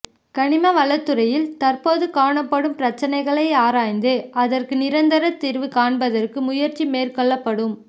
கனிம வளத்துறையில் தற்போது காணப்படும் பிரச்னைகளை ஆராய்ந்து அதற்கு நிரந்தர தீர்வு காண்பதற்கு முயற்சிமேற்கொள்ளப்படும்